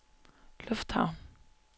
lufthavn